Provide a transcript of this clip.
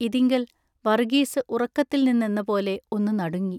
ഇതിങ്കൽ വറുഗീസു ഉറക്കത്തിൽ നിന്നെന്നപോലെ ഒന്നു നടുങ്ങി.